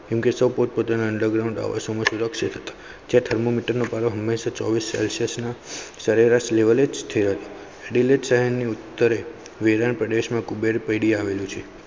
કેમકે સાવ પોત પોતાના underground સુરક્ષીત હતા જ્યાં thermometer પારો હમેશા ચોવીસ celsius ના સરેરાશ level સ્થિર સહેર ના ઉતેરે વિરાણ પ્રદેશ માં કુબેરપેડી આવેલું છે